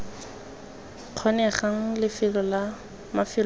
kgonegang lefelo la mafelo otlhe